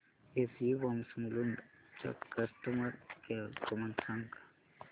SU pumps Mulund चा customer care क्रमांक सांगा